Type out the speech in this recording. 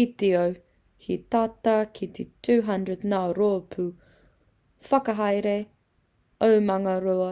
i te ao, he tata ki t 200 ngā rōpū whakahaere omanga roa.